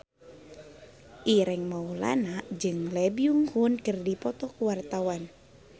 Ireng Maulana jeung Lee Byung Hun keur dipoto ku wartawan